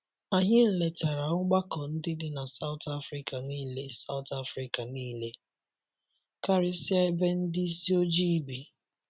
Anyị letara ọgbakọ ndị dị na South Afrika nile South Afrika nile, karịsịa ebe ndị ịsị ojii bi.